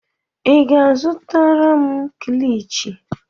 ị ga-azụtara m kilichi?